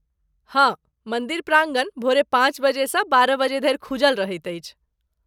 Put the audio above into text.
हाँ, मन्दिर प्राङ्गण भोरे पाँच बजे सँ बारह बजे धरि खूजल रहैत अछि।